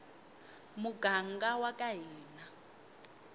muganga waka hina